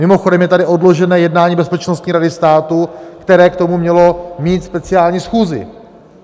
Mimochodem, je tady odložené jednání Bezpečnostní rady státu, které k tomu měla mít speciální schůzi.